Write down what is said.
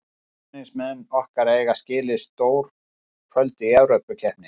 Stuðningsmenn okkar eiga skilið stór kvöld í Evrópukeppni.